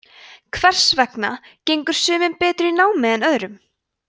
hvers vegna gengur sumum betur í námi en öðrum